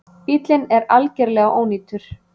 Bíllinn er algerlega ónýtur